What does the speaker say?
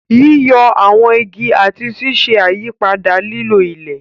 Yíyọ àwọn igi àti ṣíṣe àyípadà lílo ilẹ̀.